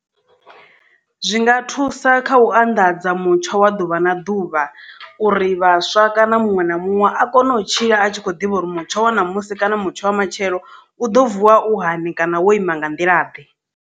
Zwinga thusa kha u anḓadza mutsho wa ḓuvha na ḓuvha uri vhaswa kana muṅwe na muṅwe a kone u tshila a tshi kho ḓivha uri mutsho wa namusi kana mutsho wa matshelo u ḓo vuwa u hani kana wo ima nga nḓila ḓe.